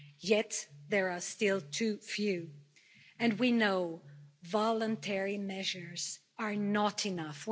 Yet there are still too few, and we know voluntary measures are not enough.